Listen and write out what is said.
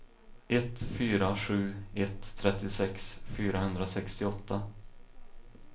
ett fyra sju ett trettiosex fyrahundrasextioåtta